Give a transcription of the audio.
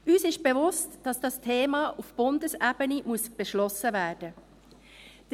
Uns ist bewusst, dass dieses Thema auf Bundesebene beschlossen werden muss.